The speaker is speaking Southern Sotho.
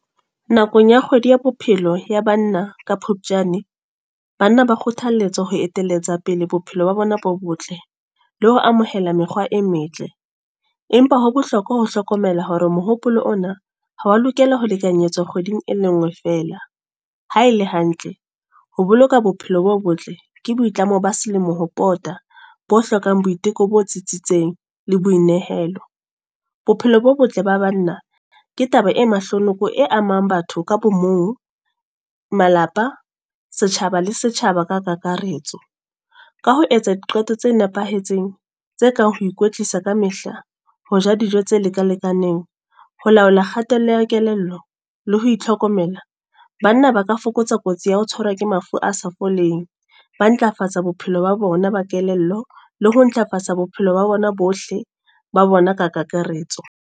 Nakong ya kgwedi ya bophelo ya banna, ka Phupjane. Banna ba kgothalletswa ho eteletsa pele bophelo ba bona bo botle. Le ho amohela mekgwa e metle. Empa ho bohlokwa ho hlokomela hore mohopolo ona, ha wa lokela ho lekanyetsa kgweding e le nngwe fela. Ha ele hantle, ho boloka bophelo bo botle ke boitlamo ba selemo ho pota. Bo hlokang boiteko bo tsitsitseng, le boinehelo. Bophelo bo botle ba banna, ke taba e mahlonoko e amang batho ka bo mong, malapa, setjhaba le setjhaba ka kakaretso. Ka ho etsa diqeto tse nepahetseng, tse kang ho ikwetlisa ka mehla. Ho ja dijo tse leka lekaneng, ho laola kgatello ya kelello, le ho itlhokomela. Banna ba ka fokotsa kotsi ya ho tshwarwa ke mafu a sa foleng. Ba ntlafatsa bophelo ba bona ba Kelello. Le ho ntlafatsa bophelo ba bona bohle, ba bona ka kakaretso.